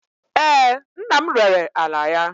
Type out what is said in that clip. Ee, nna m rere ala ya.